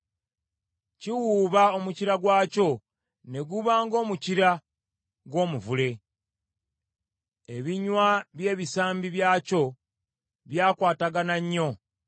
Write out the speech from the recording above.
Kiwuuba omukira gwakyo ne guba ng’omukira gw’omuvule Ebinywa by’ebisambi byakyo byakwatagana nnyo.